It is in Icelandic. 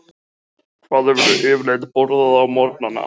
Björn: Hvað hefurðu yfirleitt borðað á morgnanna?